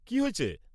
কি হয়েছে?